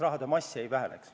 Signe Riisalo, palun!